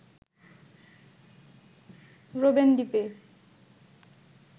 Robben দ্বীপে